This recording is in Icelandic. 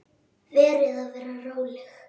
Verð að vera róleg.